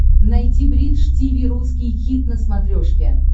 найти бридж тиви русский хит на смотрешке